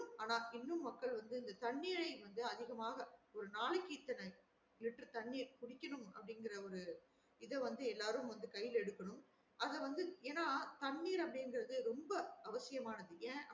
ஆனா இன்னும் மக்கள் வந்து இந்த தண்ணீரை வந்து அதிகமாக ஒரு நாளைக்கு இத்தன லிட்டர் தண்னியா குடிக்கணும் அப்டின்றத எல்லாரும் கையில எடுக்கணும் அத வந்து ஏன்னா தண்ணீர அப்டிங்குறது ரொம்ப அவசியம்மானது ஏ